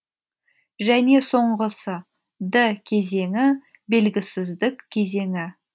және соңғысы д кезеңі белгісіздік кезеңі